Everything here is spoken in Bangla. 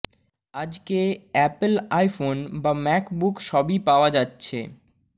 আজকে অ্যাপেল আইফোন বা ম্যাক বুক সবই পাওয়া যাচ্ছে